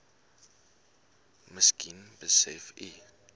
miskien besef u